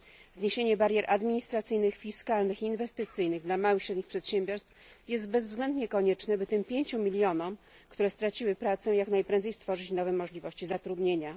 Zniesienie barier administracyjnych, fiskalnych, inwestycyjnych dla małych i średnich przedsiębiorstw jest bezwzględnie koniecznie, by tym pięciu milionom, które straciły pracę jak najprędzej stworzyć nowe możliwości zatrudnienia.